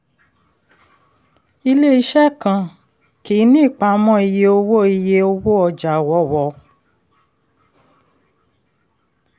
ilé-iṣẹ́ kan kì í ní ìpamọ́ iye owó iye owó ọjà wọ́wọ́.